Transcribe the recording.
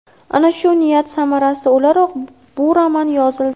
Ana shu niyat samarasi o‘laroq bu roman yozildi.